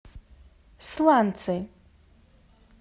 сланцы